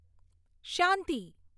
શાંતિ